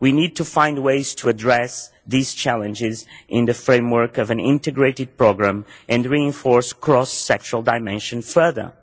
We need to find ways to address these challenges in the framework of an integrated programme and reinforce the cross sectional dimension further.